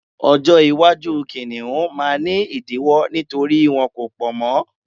ọjọ iwaju kiniun ma ni idiwọ nítorí wọn ko pọ mọ